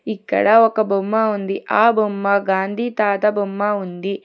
ఇక్కడ ఒక బొమ్మ ఉంది ఆ బొమ్మ గాంధీ తాత బొమ్మ ఉంది.